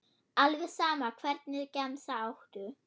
alveg sama Hvernig gemsa áttu?